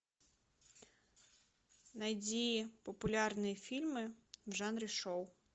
найди популярные фильмы в жанре шоу